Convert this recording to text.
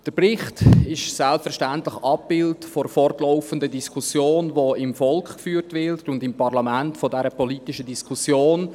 Der Bericht ist selbstverständlich ein Abbild der fortlaufenden politischen Diskussion, die im Volk und im Parlament geführt wird.